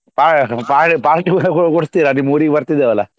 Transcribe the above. Pa~ pa~ party ಕೊಡಿಸ್ತೀರಾ ನಿಮ್ ಊರಿಗೆ ಬರ್ತಿದ್ದೇವಲ.